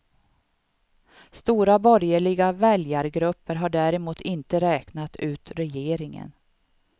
Stora borgerliga väljargrupper har däremot inte räknat ut regeringen.